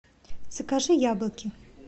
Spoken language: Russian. закажи яблоки